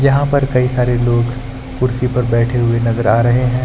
यहां पर कई सारे लोग कुर्सी पर बैठे हुए नजर आ रहे हैं।